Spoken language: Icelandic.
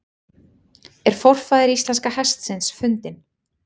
Er forfaðir íslenska hestsins fundinn?